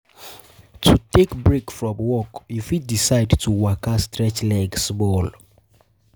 To take break from work you fit decide to waka stretch leg small